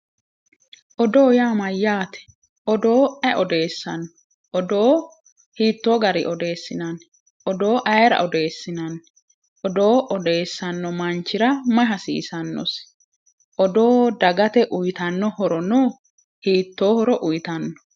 Odoo yaa mayyaate? Odoo aye odeessanno? Odoo hiito gari odeessinanni? Odoo ayeera odeessinanni? Odoo odeessanno manchira mayi hasiisannosi? Odoo dagate uyiitanno horo no? Hiittoo horo uyiitanno?